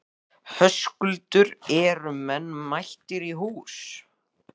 Höskuldur, eru menn mættir í hús?